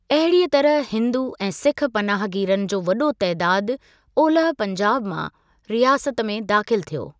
अहिड़ीअ तरह हिन्दू ऐं सिख पनाहगीरन जो वॾो तइदादु ओलह पंजाब मां रियासत में दाख़िलु थियो।